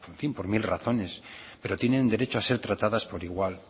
por mil razones pero tienen derecho a ser tratadas por igual